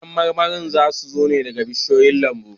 Kayan marmarin za su zo daga bishiyoyin lambun